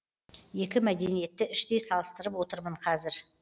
екі мәдениетті іштей салыстырып отырмын қазір